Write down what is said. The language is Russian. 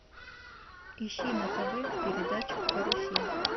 ищи на тв передачу карусель